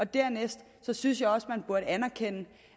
dernæst synes jeg også man burde anerkende